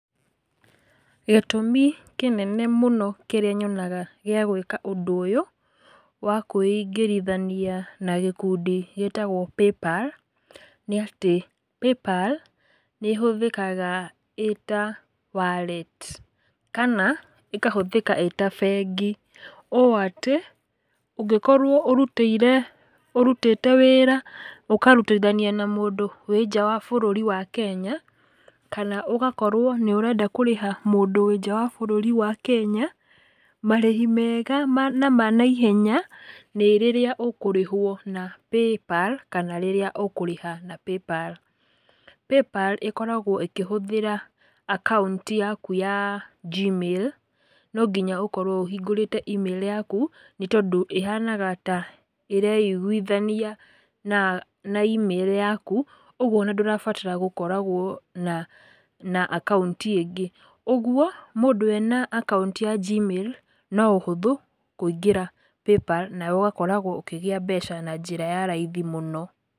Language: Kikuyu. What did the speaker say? Gĩtũmi kĩnene mũno kĩrĩa nyonaga gĩa gwĩka ũndũ ũyũ, wa kwĩingĩrithania na gĩkundi gĩtagwo paypal, nĩ atĩ, paypal nĩhũthĩkaga ĩta wallet kana ĩkahũthĩka ĩta bengi, ũũ atĩ, ũngĩkorwo ũrutĩire, ũrutĩte wĩra ũkarutithania na mũndũ wĩ nja wa bũrũri wa Kenya, kana ũgakorwo nĩ ũrenda kũrĩha mũndũ wĩ nja wa bũrũri wa Kenya, marĩhi mega ma na ma naihenya, nĩ rĩrĩa ũkũrĩhwo na paypal, kana rĩrĩa ũkũrĩha na paypal. Paypal ĩkoragwo ĩkĩhũthĩga akaunti yaku ya G-Mail, nonginya ũkorwo ũhingũrĩte e-mail yaku, nĩtondũ ĩhanaga ta, ĩreiguithania, na na e-mail yaku, ũguo ona ndũrabatara gũkoragwo na, na akaunti ĩngĩ, ũguo, mũndũ ena akaunti ya G-Mail, no ũhũthũ, kũingĩra paypal, nawe ũgakoragwo ũkĩgĩa mbeca na njĩra ya raithi mũno.